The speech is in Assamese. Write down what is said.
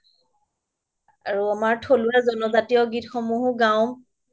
আৰু আমাৰ থলুৱা জন জাতীয় গীতসমূহো গাওঁ